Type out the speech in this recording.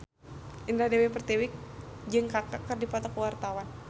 Indah Dewi Pertiwi jeung Kaka keur dipoto ku wartawan